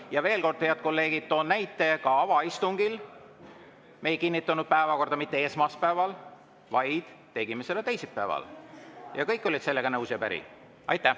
Ja veel, head kolleegid, toon näite: ka avaistungi puhul me ei kinnitanud päevakorda mitte esmaspäeval, vaid tegime seda teisipäeval ja kõik olid sellega nõus ja päri.